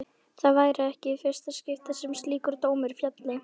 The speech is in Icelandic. Það væri ekki í fyrsta skipti sem slíkur dómur félli.